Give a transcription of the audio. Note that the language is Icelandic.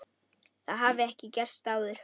Það hafi ekki gerst áður.